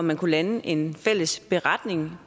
man kunne lande en fælles beretning